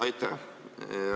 Aitäh!